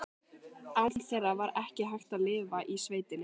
Án þeirra var ekki hægt að lifa í sveitinni.